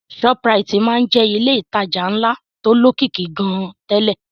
Shoprite máa ń jẹ́ ilé ìtajà ńlá tó lókìkí gan-an tẹ́lẹ̀